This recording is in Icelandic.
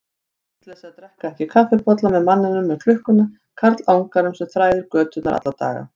Vitleysa að drekka ekki kaffibolla með manninum með klukkuna, karlanganum sem þræðir göturnar alla daga.